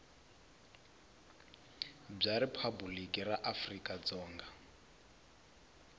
bya riphabuliki ra afrika dzonga